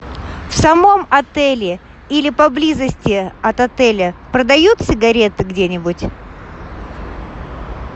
в самом отеле или поблизости от отеля продают сигареты где нибудь